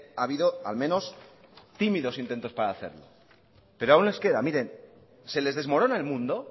ha habido al menos tímidos intentos para hacerlo pero aún les queda miren se les desmorona el mundo